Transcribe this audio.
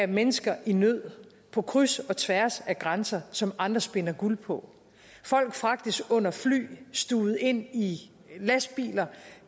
mennesker i nød på kryds og tværs af grænser som andre spinder guld på folk fragtes under fly stuvet ind i lastbiler